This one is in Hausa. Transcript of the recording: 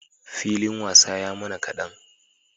Filin wasa ya mana kadan